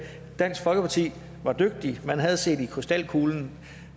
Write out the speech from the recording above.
dansk folkeparti var dygtige for man havde set i krystalkuglen